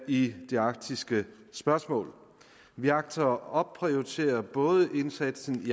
i det arktiske spørgsmål vi agter at opprioritere både indsatsen i